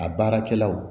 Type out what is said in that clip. A baarakɛlaw